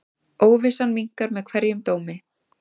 Óvissan minnkar með hverjum dómi.